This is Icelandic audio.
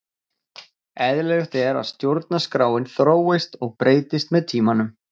Eðlilegt er að stjórnarskráin þróist og breytist með tímanum.